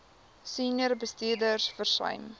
senior bestuurders versuim